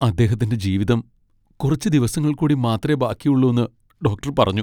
അദ്ദേഹത്തിന്റെ ജീവിതം കുറച്ച് ദിവസങ്ങൾ കൂടി മാത്രേ ബാക്കിയുള്ളൂന്ന് ഡോക്ടർ പറഞ്ഞു.